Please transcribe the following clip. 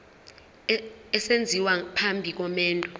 esenziwa phambi komendo